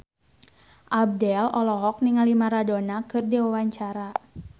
Abdel olohok ningali Maradona keur diwawancara